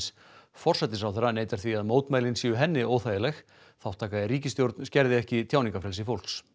forsætisráðherra neitar því að mótmælin séu henni óþægileg þátttaka í ríkisstjórn skerði ekki tjáningarfrelsi fólks